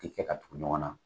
K'i kɛ ka tugu ɲɔgɔn na.